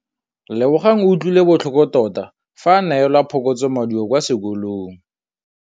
Lebogang o utlwile botlhoko tota fa a neelwa phokotsômaduô kwa sekolong.